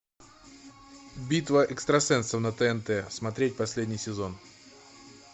битва экстрасенсов на тнт смотреть последний сезон